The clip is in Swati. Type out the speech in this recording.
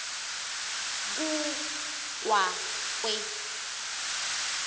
ku kwa kwe